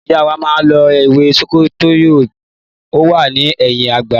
Ìyá wá máa lo ewé sokoyòkòtò, ó wà ní ẹ̀yin àga